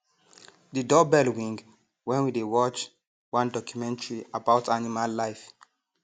the doorbell ring when we dey watch one documentary about animal life